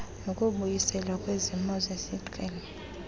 nokubuyiselwa kwesimo sesiqhelo